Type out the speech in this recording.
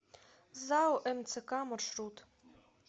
зао мцк маршрут